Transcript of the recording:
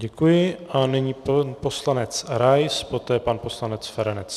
Děkuji a nyní poslanec Rais, poté pan poslanec Feranec.